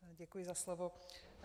Děkuji za slovo.